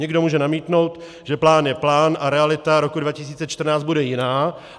Někdo může namítnout, že plán je plán a realita roku 2014 bude jiná.